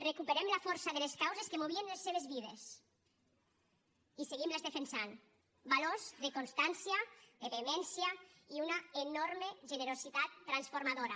recuperem la força de les causes que movien les seves vides i seguim les defensant valors de constància de vehemència i una enorme generositat transformadora